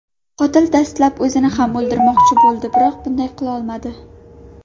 Qotil dastlab o‘zini ham o‘ldirmoqchi bo‘ldi, biroq bunday qilolmadi.